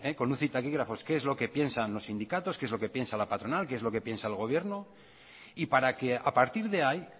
con luz y taquígrafos qué es lo que piensan los sindicatos qué es lo que piensa la patronal qué es lo que piensa el gobierno y para que a partir de ahí